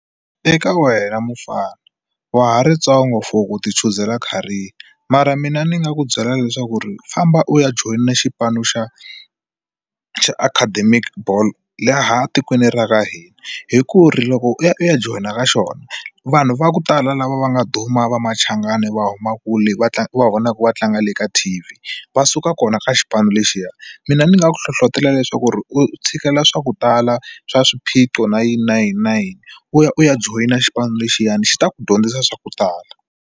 Eka wena mufana wa ha ri ntsongo for ku ti chuzela career mara mina ni nga ku byela leswaku ri famba u ya joyina xipano xa xa academic ball laha tikweni ra ka hina hi ku ri loko u ya u ya joyina ka xona vanhu va ku tala lava va nga duma va machangani va huma kule va tlanga u va vonaka va tlanga le ka T_V va suka kona ka xipano lexiya mina ni nga ku hlohlotelo leswaku ri u tshikela swa ku tala swa swiphiqo na yini na yini na yini u ya u ya joyina xipano lexiyana xi ta ku dyondzisa swa ku tala.